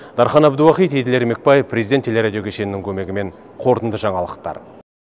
дархан әбдуахит еділ ермекбаев президент телерадио кешенінің көмегімен қорытынды жаңалықтар